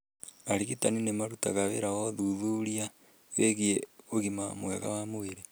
Arigitani nĩ marutaga wĩra wa ũthuthuria wĩgiĩ ũgima mwega wa mwĩrĩ